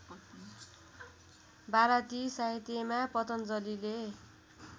भारतीय साहित्यमा पतञ्जलिले